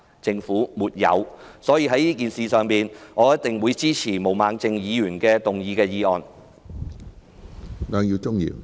就此次事件，我一定支持毛孟靜議員動議的議案。